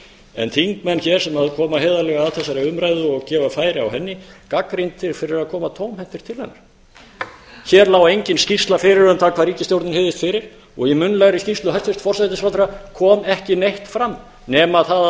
en þingmenn sem koma heiðarlega að þessari umræðu og gefa færi á henni gagnrýndir fyrir að koma tómhentir til hennar hér lá engin skýrsla fyrir um það hvað ríkisstjórnin hygðist fyrir og í munnlegri skýrslu hæstvirts forsætisráðherra kom ekki neitt fram nema það að